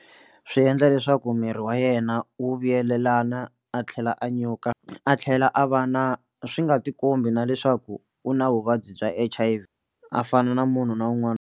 Swi endla leswaku miri wa yena wu vuyelelana a tlhela a nyuka a tlhela a va na swi nga tikombi na leswaku u na vuvabyi bya H_I_V a fana na munhu na un'wana.